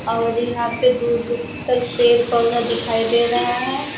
ईहां पे दूर-दूर तर पेड़-पौधा दिखाई दे रहा है।